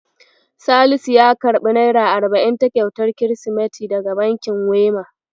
Salisu ya karɓi naira arba'in ta kyautar Kirsimeti daga bankin Wema.